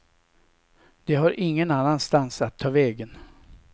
De har ingen annanstans att ta vägen.